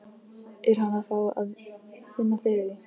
Er hann að fá að finna fyrir því?